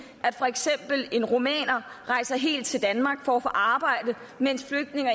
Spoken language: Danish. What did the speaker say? at for eksempel en rumæner rejser helt til danmark for at få arbejde mens flygtninge